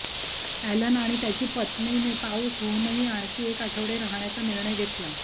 Alan आणि त्याची पत्नीने पाऊस होऊनही आणखी एक आठवडे राहण्याचा निर्णय घेतला